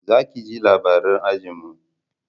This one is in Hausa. za ki je laburare anjima!